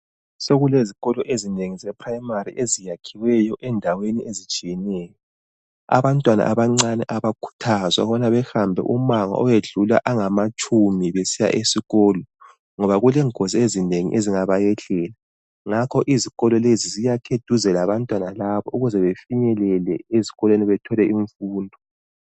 Sokulezikolo ezinengi zeprimary eziyakhiweyo endaweni ezitshiyeneyo abantwana abancane a bakhuthazwa ukubana behambe umango okwedlula angamatshumi besiya esikolo ngoba kulengozi ezinengi ezingabayehlela ngakho izikolo lezi ziyakhwe eduze labantwana laba ukuze befinyelele esikolweni bethole imfundo.